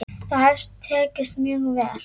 Það hefur tekist mjög vel.